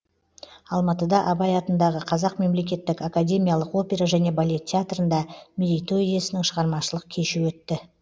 алматыда абай атындағы қазақ мемлекеттік академиялық опера және балет театрында мерейтой иесінің шығармашылық кеші өтті